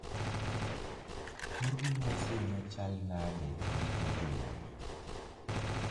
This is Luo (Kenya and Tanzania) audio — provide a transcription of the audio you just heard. Kor lwasi nochal nade giko jumani